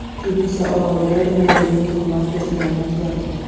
Ibitsa orolida dunyodagi eng qimmat restoran ochiladi .